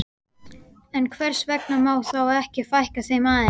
En hvers vegna má þá ekki fækka þeim aðeins?